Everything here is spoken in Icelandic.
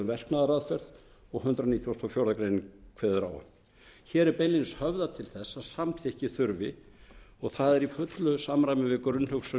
verknaðaraðferð og hundrað nítugasta og fjórðu grein kveður á um hér er beinlínis höfðað til þess að samþykki þurfi og það er í fullu samræmi við grunnhugsun